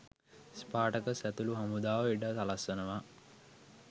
Spartacus ඇතුළු හමුදාව ඉඩ සලස්වනවා.